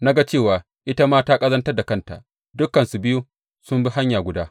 Na ga cewa ita ma ta ƙazantar da kanta; dukansu biyu sun bi hanya guda.